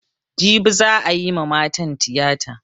Jibi za'a yi ma matan tiyata.